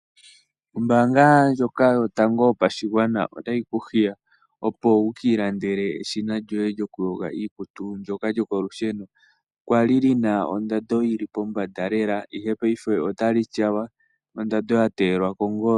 Ombanga ndjoka yotango yopashingwana otayi kuhiya opo wukilandele eshina lyoye lyokuyonga iikutu lyoka lyokolusheno kwali lina ondando yili pombanda lela ihe payife otali tyawa ondando yatelwa kongolo.